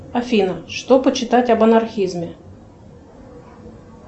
афина что почитать об анархизме